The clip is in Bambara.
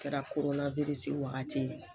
A kɛra wagati ye